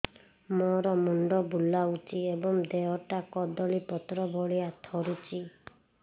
ମୋର ମୁଣ୍ଡ ବୁଲାଉଛି ଏବଂ ଦେହଟା କଦଳୀପତ୍ର ଭଳିଆ ଥରୁଛି